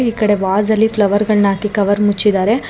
ಈ ಕಡೆ ವಾಸ್ ಅಲ್ಲಿ ಫ್ಲವರ್ ಗಳನ್ನ ಹಾಕಿ ಕವರ್ ಮುಚ್ಚಿದಾರೆ.